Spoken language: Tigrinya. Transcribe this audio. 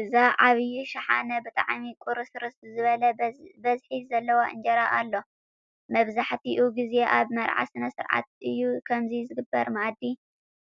ኣበ ዓብይ ሽሓነ ብጣዕሚ ቁርስርስ ዝበለ በዝሒ ዘለዎ እንጀራ ኣሎ። ማብዛሕቲኡ ግዜ ኣብ መርዓ ስነ ስርዓት እዩ ከምዚ ዝግበር ምኣዲ